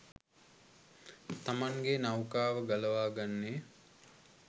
තමන්ගේ නෞකාව ගලවා ගන්නේ?